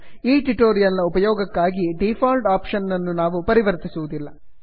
ಈ ಟ್ಯುಟೋರಿಯಲ್ ನ ಉಪಯೋಗಕ್ಕಾಗಿ ಡಿಫಾಲ್ಟ್ ಆಪ್ಷನ್ ನನ್ನು ನಾವು ಪರಿವರ್ತಿಸುವುದಿಲ್ಲ